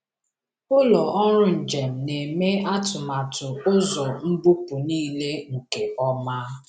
Ụlọ ọrụ njem na-eme atụmatụ ụzọ mbupu niile nke ọma.